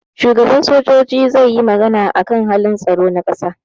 shugaba sojoji zai yi magana akan halin tsaron kasa